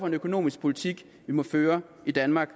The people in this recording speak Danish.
en økonomisk politik vi må føre i danmark